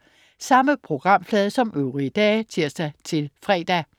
Samme programflade som øvrige dage (tirs-fre)